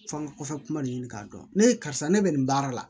F'an ga kɔfɛ kuma nin k'a dɔn ne karisa ne be nin baara la